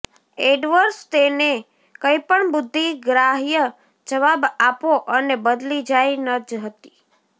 AdWords તેને કંઈપણ બુદ્ધિગ્રાહ્ય જવાબ આપો અને બદલી જાય ન હતી